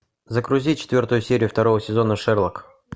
загрузи четвертую серию второго сезона шерлок